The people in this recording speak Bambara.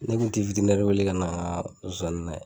Ne kun ti witirinɛri wele ka na n ka zonzani layɛ